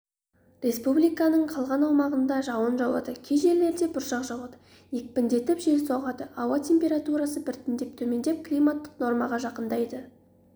республиканың қалған аумағында жауын жауады кей жерлерінде бұршақ жауады екпіндетіп жел соғады ауа температурасы біртіндеп төмендеп климаттық нормаға жақындайды